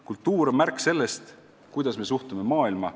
Kultuur on märk sellest, kuidas me suhtume maailma.